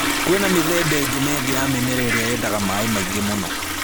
Kwĩna mĩthemba ĩngĩ na ĩngĩ ya mĩmera ĩrĩa yendaga maaĩ maingĩ mũno